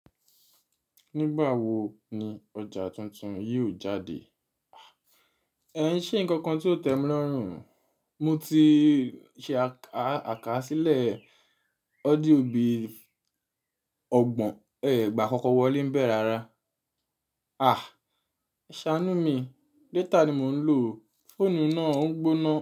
Nígbà wo ni ọjà tuntun yóò jáde? Ẹ ń ṣe nǹkan nkan tí ó tẹ́ mi lọ́rùn. Mo ti ṣe àkásílẹ̀ ọ́díò bí ọgbọ̀n ẹgbàá kọ́kọ́ wọlé ń bẹ̀ rárá. A! Ṣánú mi, data ni mò ń lò. Fóònù náà ń gbóná.